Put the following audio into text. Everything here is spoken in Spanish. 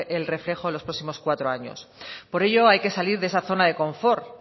el reflejo en los próximos cuatro años por ello hay que salir de esa zona de confort